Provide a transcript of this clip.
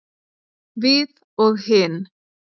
Við og hin.